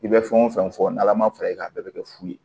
I bɛ fɛn o fɛn fɔ n'ala ma fara i kan a bɛɛ bɛ kɛ fu ye